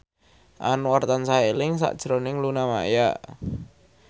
Anwar tansah eling sakjroning Luna Maya